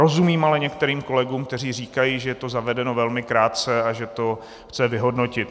Rozumím ale některým kolegům, kteří říkají, že je to zavedeno velmi krátce a že to chce vyhodnotit.